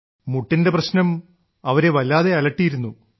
മുട്ടിന്റെ പ്രശ്നം അവരെ വല്ലാതെ അലട്ടിയിരുന്നു